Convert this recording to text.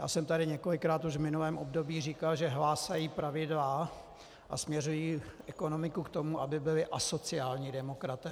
Já jsem tady několikrát už v minulém období říkal, že hlásají pravidla a směřují ekonomiku k tomu, aby byli asociální demokraté.